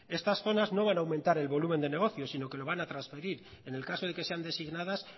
estas zonas no van a aumentar el volumen de negocios sino que lo van a trasferir en el caso de que sean designadas